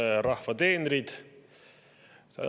Head rahva teenrid!